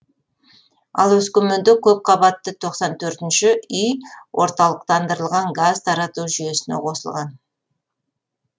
ал өскеменде көпқабатты тоқсан төртінші үй орталықтандырылған газ тарату жүйесіне қосылған